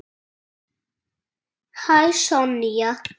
Hæ, Sonja.